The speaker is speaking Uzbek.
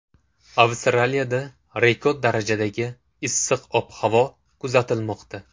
Avstraliyada rekord darajadagi issiq ob-havo kuzatilmoqda.